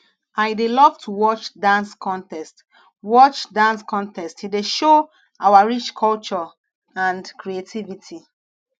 i dey love to watch dance contests watch dance contests e dey show our rich culture and creativity